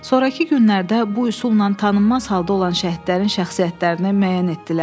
Sonrakı günlərdə bu üsulla tanınmaz halda olan şəhidlərin şəxsiyyətini müəyyən etdilər.